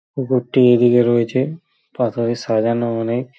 পুকুরটি এদিকে রয়েছে পাথরে সাজানো অনেক ।